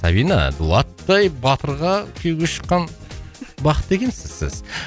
сабина дулаттай батырға күйеуге шыққан бақытты екенсіз сіз